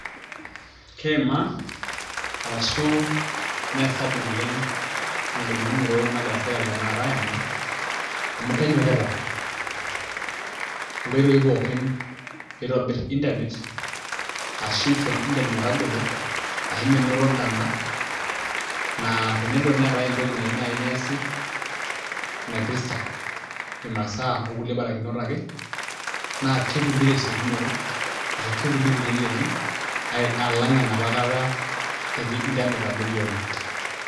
Keimaa arashu meesapuk naleng' engolikinoto nagira sirkali aimaa amu kenyokita inkoitoii pookin pee itobirr internet ashu isho internet metagolo ashu menoto intona naa tenelo naai pee eetai entoki nayieu neesi naipirta imasaa okulie barakinot ake naa ketumi tesiokinoto ashu ketumi teleleki alang' enapa kata etii internet abori oleng'.